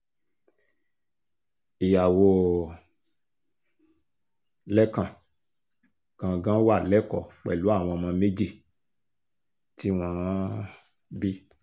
ìyàwó um lẹ́kan gangan wà lẹ́kọ̀ọ́ pẹ̀lú àwọn ọmọ méjì tí wọ́n um bí